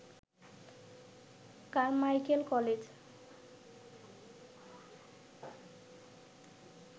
Carmichael college